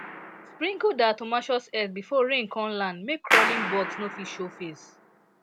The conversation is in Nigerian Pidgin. sprinkle diatomaceous earth before rain con land make crawling bugs no fit show face